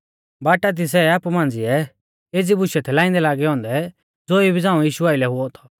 बाटा दी सै आपु मांझ़िऐ एज़ी बुशै थै लाइंदै लागै औन्दै ज़ो इबी झ़ांऊ यीशु आइलै हुऔ थौ